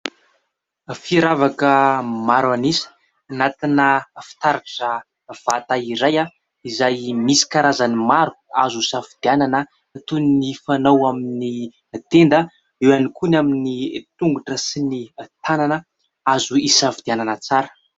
Firavaka maro an'isa anatina fitaratra vata iray, izay misy karazany maro azo hisafidianana toy ny fanao amin'ny tenda eo ihany koa ny amin'ny tongotra sy ny tanana azo hisafidianana tsara.